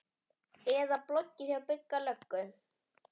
Eða bloggið hjá Bigga löggu?